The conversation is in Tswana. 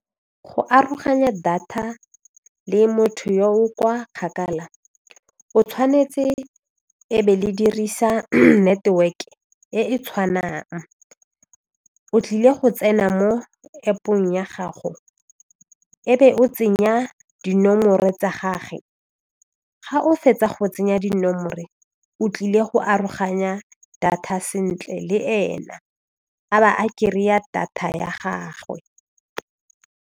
Go aroganya data le motho yo o kwa kgakala o tshwanetse e be le dirisa network e e tshwanang o tlile go tsena mo App-ong ya gago e be o tsenya dinomoro tsa gagwe ga o fetsa go tsenya dinomoro o tlile go aroganya data sentle le ena a ba a kry-a data ya gagwe.